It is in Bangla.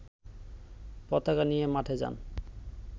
পতাকা নিয়ে মাঠে যান